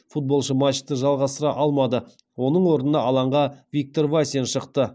футболшы матчты жалғастыра алмады оның орнына алаңға виктор васин шықты